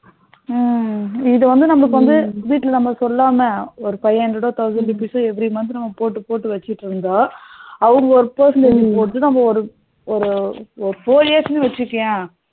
உம் இது வந்து நமக்கு வந்து வீடுல நம்ம சொல்லாம ஒரு five hundred to thousand rupees so every month நம்ம போட்டு போட்டு வச்சிட்டு இருந்தா அவங்க நாம ஒரு ஒரு ஒரு four years னு வச்சிகோய